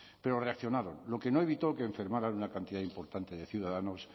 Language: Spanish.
pero reaccionaron lo que no evitó que enfermara una cantidad importante de ciudadanos